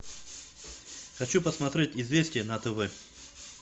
хочу посмотреть известия на тв